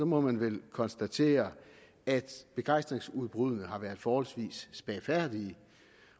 må man vel konstatere at begejstringsudbruddene har været forholdsvis spagfærdige